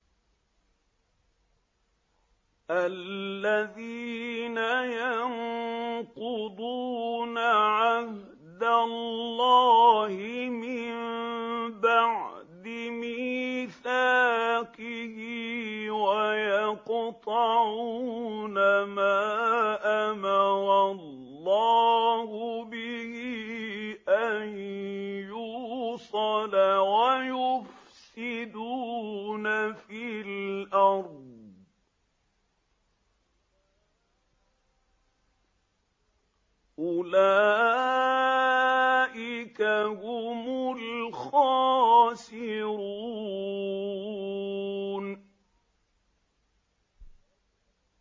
الَّذِينَ يَنقُضُونَ عَهْدَ اللَّهِ مِن بَعْدِ مِيثَاقِهِ وَيَقْطَعُونَ مَا أَمَرَ اللَّهُ بِهِ أَن يُوصَلَ وَيُفْسِدُونَ فِي الْأَرْضِ ۚ أُولَٰئِكَ هُمُ الْخَاسِرُونَ